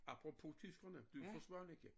Apropos tyskerne du jo fra Svaneke